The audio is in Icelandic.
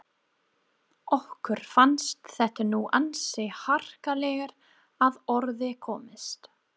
Okkur fannst þetta nú ansi harkalega að orði komist.